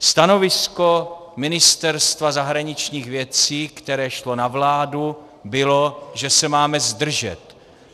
Stanovisko Ministerstva zahraničních věcí, které šlo na vládu, bylo, že se máme zdržet.